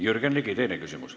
Jürgen Ligi, teine küsimus.